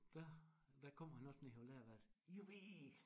Der der kom han også ned på lærerværelse jubi